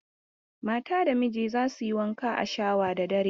Mata da miji za su yi wanka a shawa da dare.